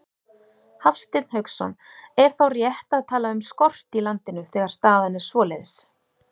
Hafsteinn Hauksson: Er þá rétt að tala um skort í landinu, þegar staðan er svoleiðis?